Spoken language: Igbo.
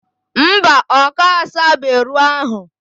Mba, oka asabe ro ahu.